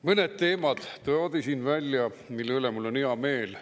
Mõned teemad toodi siin välja, mille üle mul on hea meel.